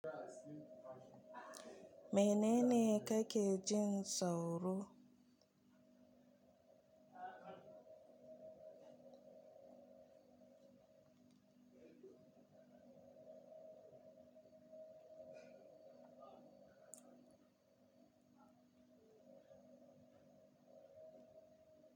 Menene kake jin tsauro?